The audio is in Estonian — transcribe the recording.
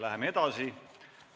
Läheme edasi.